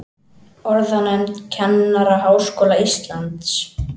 Orðanefnd Kennaraháskóla Íslands.